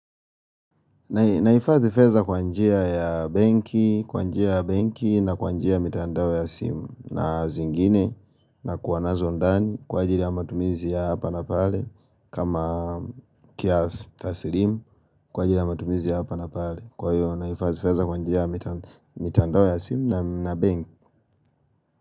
Naifadhi pesa kwanjia ya banki, kwanjia ya banki na kwanjia ya mitandawe ya simu na zingine na kuwanazo ndani kwa ajili ya matumizi ya hapa na pale kama kiasi tasilimu kwa ajili ya matumizi ya hapa na pale kwa hiyo naifadhi pesa kwa njia ya mitandao ya simu na benki.